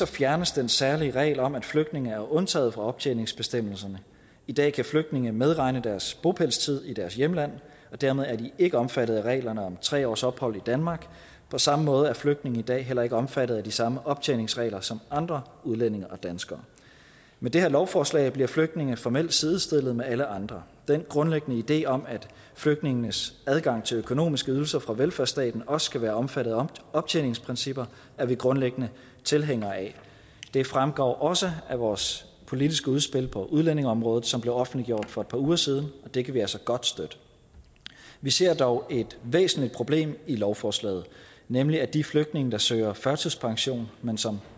fjernes den særlige regel om at flygtninge er undtaget fra optjeningsbestemmelserne i dag kan flygtninge medregne deres bopælstid i deres hjemland og dermed er de ikke omfattet af reglerne om tre års ophold i danmark på samme måde er flygtninge i dag heller ikke omfattet af de samme optjeningsregler som andre udlændinge og danskere med det her lovforslag bliver flygtninge formelt sidestillet med alle andre den grundlæggende idé om at flygtninges adgang til økonomiske ydelser fra velfærdsstaten også skal være omfattet af optjeningsprincipper er vi grundlæggende tilhængere af det fremgår også af vores politiske udspil på udlændingeområdet som blev offentliggjort for et par uger siden og det kan vi altså godt støtte vi ser dog et væsentligt problem i lovforslaget nemlig at de flygtninge der søger førtidspension men som